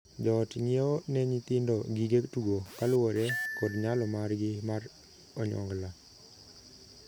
Joot ng'iewo ne nyithindo gige tugo kaluwore kod nyalo margi mar onyongla.